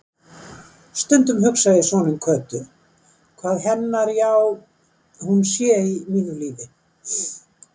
Stundum hugsa ég svona um Kötu, hvað hennar já-hún sé í mínu lífi.